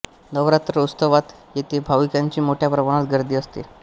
नवरात्र उत्सवात येथे भाविकांची मोठ्या प्रमाणात गर्दी असते